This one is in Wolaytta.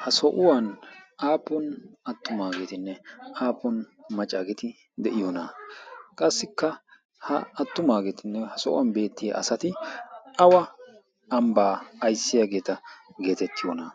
Ha so'uwan aappun attumaageetinne aappun maccaageeti de'iyonaa? Qassikka ha attumaageetinne ha sohuwan beettiya asati awa ambbaa ayssiyageeta geetettiyonaa?